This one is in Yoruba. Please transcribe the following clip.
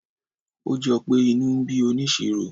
ó jọpé inú ń bí onisiro